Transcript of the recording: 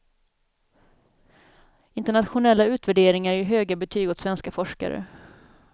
Internationella utvärderingar ger höga betyg åt svenska forskare.